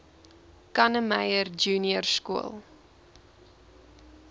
kannemeyer junior skool